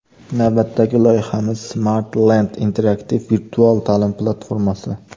Navbatdagi loyihamiz – "Smart Land" interaktiv virtual ta’lim platformasi!.